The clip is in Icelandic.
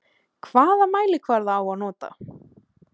Hvaða mælikvarða á að nota?